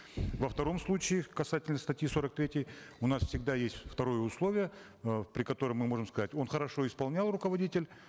во втором случае касательно статьи сорок третьей у нас всегда есть второе условие э при котором мы можем сказать он хорошо исполнял руководитель